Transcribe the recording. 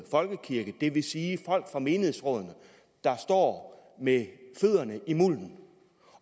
folkekirke det vil sige folk fra menighedsrådene der står med fødderne i mulden